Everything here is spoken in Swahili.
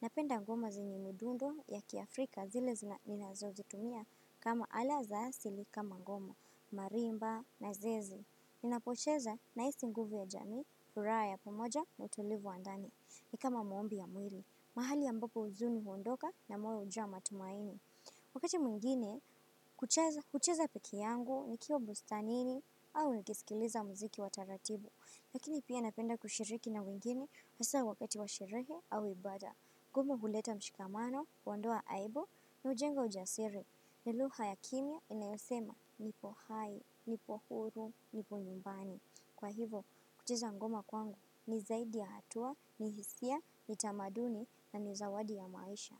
Napenda ngoma zenye midundo ya kiafrika zile zina ninazozitumia kama ala za asili kama ngoma, marimba na zeze. Ninapocheza nahisi nguvu ya jamii, furaha ya pamoja na utulivu wa ndani. Ni kama maombi ya mwili, mahali ambapo huzuni huondoka na moyo hujaa matumaini. Wakati mwingine, kucheza peke yangu nikiwa bustanini au nikisikiliza mziki wa taratibu. Lakini pia napenda kushiriki na wengine hasa wakati wa sherehe au ibada. Ngoma huleta mshikamano, huondoa aibu na hujenga ujasiri. Ni lugha ya kimya inayosema nipo hai, nipo huru, nipo nyumbani. Kwa hivo, kucheza ngoma kwangu ni zaidi ya hatua, ni hisia, ni tamaduni na ni zawadi ya maisha.